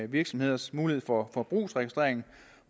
virksomheders mulighed for forbrugsregistrering